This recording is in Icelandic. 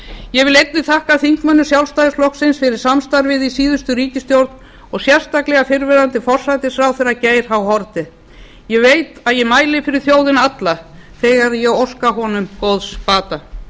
ég vil einnig þakka þingmönnum sjálfstæðisflokksins fyrir samstarfið í síðustu ríkisstjórn og sérstaklega fyrrverandi forsætisráðherra geir h haarde ég veit að ég mæli fyrir þjóðina alla þegar ég óska honum góðs bata